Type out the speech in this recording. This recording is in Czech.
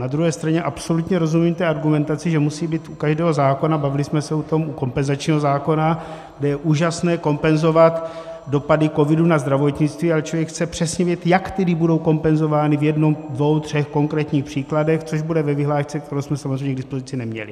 Na druhé straně absolutně rozumím té argumentaci, že musí být u každého zákona - bavili jsme se o tom u kompenzačního zákona, kde je úžasné kompenzovat dopady covidu na zdravotnictví, ale člověk chce přesně vědět, jak tedy budou kompenzovány v jednom, dvou, třech konkrétních příkladech, což bude ve vyhlášce, kterou jsme samozřejmě k dispozici neměli.